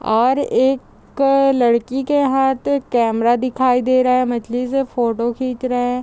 और एक अ अ लड़की के हाथ कैमरा दिखाई दे रहा है | मछली से फोटो खींच रहे हैं |